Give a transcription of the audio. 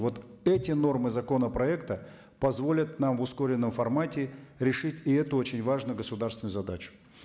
вот эти нормы законопроекта позволят нам в ускоренном формате решить и эту очень важную государственную задачу